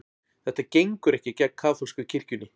Þetta gengur ekki gegn kaþólsku kirkjunni